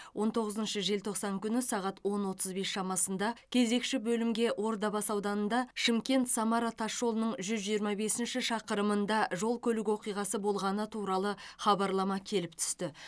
он тоғызыншы желтоқсан күні сағат он отыз бес шамасында кезекші бөлімге ордабасы ауданында шымкент самара тасжолының жүз жиырма бесінші шақырымында жол көлік оқиғасы болғаны туралы хабарлама келіп түсті